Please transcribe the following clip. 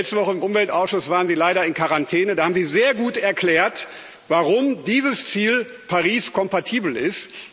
letzte Woche im Umweltausschuss waren Sie leider in Quarantäne, da haben Sie sehr gut erklärt, warum dieses Ziel Paris kompatibel ist.